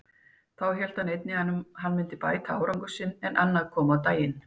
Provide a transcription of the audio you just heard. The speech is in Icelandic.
Þá hélt enginn að hann myndi bæta árangur sinn, en annað kom á daginn.